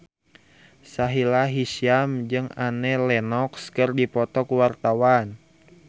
Sahila Hisyam jeung Annie Lenox keur dipoto ku wartawan